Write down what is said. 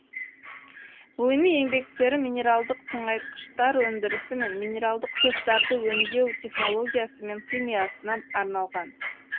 ғылыми еңбектері минералдық тыңайтқыштар өндірісі мен минералдық тұздарды өндеу технологиясы мен химиясына арналған